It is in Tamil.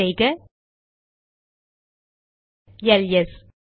டைப் செய்க எல்எஸ்